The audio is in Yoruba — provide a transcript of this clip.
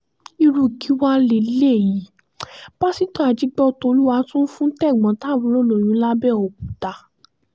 irú kí wàá lélẹ́yìí pásítọ̀ ajígbọ́tólúwá tún fún tẹ̀gbọ́n-tàbúrò lóyún làbẹ́ọ́kúta